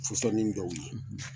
Fusɔnnin dɔw ye.